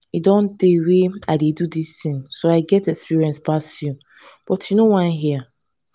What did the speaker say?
e don tey wey i dey do dis thing so i get experience pass you but you no wan hear